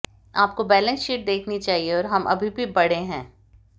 आपको balance sheet देखनी चाहिए और हम अभी भी बड़े हैं